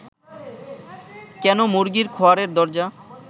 কেন মুরগির খোঁয়ারের দরজা